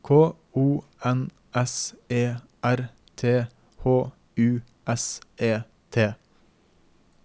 K O N S E R T H U S E T